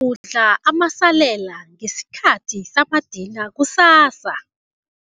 kudla amasalela ngesikhathi samadina kusasa.